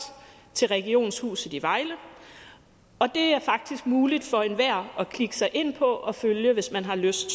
til regionshuset i vejle og det er faktisk muligt for enhver at klikke sig ind på og følge hvis man har lyst